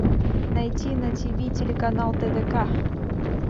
найти на ти ви телеканал тдк